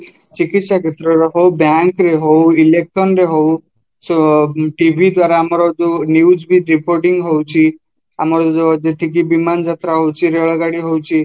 ଚିକିସ୍ୟା କ୍ଷେତ୍ରରେ ହଉ bank ରେ ହଉ, election ରେ ହଉ, show TVଦ୍ଵାରା ଆମର ଯୋଉ newsବି reporting ହଉଚି ଆମର ଯେତିକି ବିମାନ ଯାତ୍ରା ହଉଚି ରେଳଗାଡ଼ି ହଉଛି